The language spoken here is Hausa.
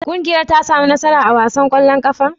Ƙungiyar ta sami nasara a wasan ƙwallon ƙafar?